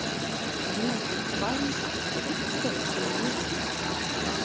Nú ætla ég að faðma allt ríkt fólk sem ég hitti.